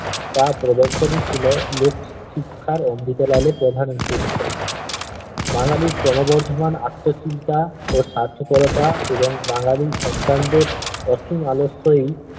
তা প্রদর্শনী ছিলো লোক শিক্ষার অমৃত লালের প্রধান উদ্দেশ্য বাঙ্গালির ক্রমবর্ধমান আত্মচিন্তা ও স্বার্থপরতা এবং বাঙ্গালি সন্তানদের অসীম আলস্যই